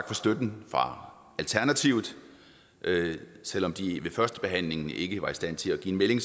for støtten fra alternativet selv om de ved førstebehandlingen ikke var i stand til at give en melding